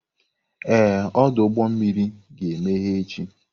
Ee, ọdụ ụgbọ mmiri ga-emeghe echi.